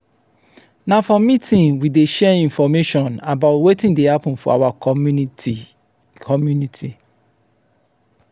na for meeting we dey share information about wetin dey happen for our community. community.